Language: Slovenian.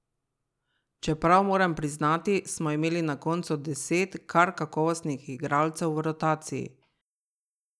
Čeprav moram priznati, da smo imeli na koncu deset kar kakovostnih igralcev v rotaciji.